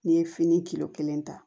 N'i ye fini kilo kelen ta